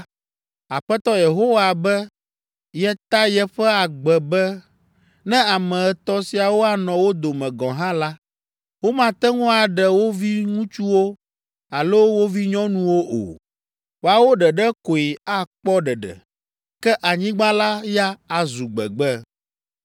Aƒetɔ Yehowa be yeta yeƒe agbe be ne ame etɔ̃ siawo anɔ wo dome gɔ̃ hã la, womate ŋu aɖe wo viŋutsuwo alo wo vinyɔnuwo o. Woawo ɖeɖe koe akpɔ ɖeɖe, ke anyigba la ya azu gbegbe.